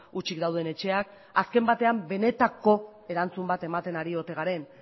hutsik dauden etxeak azken batean benetako erantzun bat ematen ari ote garen